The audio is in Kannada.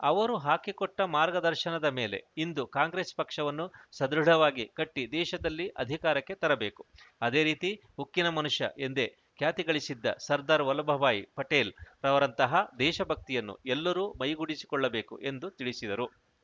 ಅವರು ಹಾಕಿಕೊಟ್ಟಮಾರ್ಗದರ್ಶನದ ಮೇಲೆ ಇಂದು ಕಾಂಗ್ರೆಸ್‌ ಪಕ್ಷವನ್ನು ಸದೃಢವಾಗಿ ಕಟ್ಟಿದೇಶದಲ್ಲಿ ಅಧಿಕಾರಕ್ಕೆ ತರಬೇಕು ಅದೇ ರೀತಿ ಉಕ್ಕಿನ ಮನುಷ್ಯ ಎಂದೆ ಖ್ಯಾತಿಗಳಿಸಿದ್ದ ಸರ್ದಾರ್‌ ವಲ್ಲಭಭಾಯಿ ಪಟೇಲ್‌ರವರಂತಹ ದೇಶಭಕ್ತಿಯನ್ನು ಎಲ್ಲರೂ ಮೈಗೂಡಿಸಿಕೊಳ್ಳಬೇಕು ಎಂದು ತಿಳಿಸಿದರು